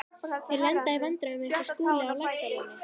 Þeir lenda í vandræðum eins og Skúli á Laxalóni.